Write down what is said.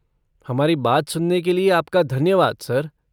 हमारी बात सुनने के लिए आपका धन्यवाद सर।